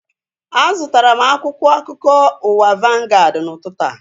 A zụtara m akwụkwọ akụkọ ụwa vangaad n'ụtụtụ a